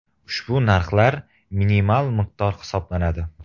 Ushbu narxlar minimal miqdor hisoblanadi.